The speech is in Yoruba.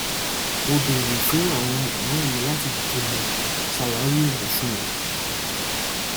mo béèrè fún àwọn ọ̀rẹ́ mi láti jùmọ̀ ṣàwárí òṣùwọ̀n